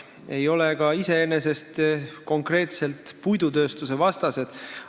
Me ei ole ka konkreetselt puidutööstuse vastased.